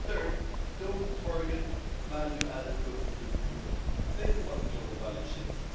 Third, don't target value added goods produced in Europe. Think about the global value chains.